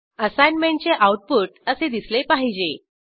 असाईनमेंटचे output असे दिसले पाहिजे